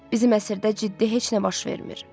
Bizim əsrdə ciddi heç nə baş vermir.